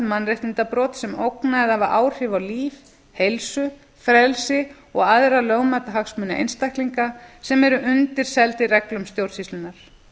mannréttindabrot sem ógna eða hafa áhrif á líf heilsu frelsi og aðra lögmæta hagsmuni einstaklinga sem eru undirseldir reglum stjórnsýslunnar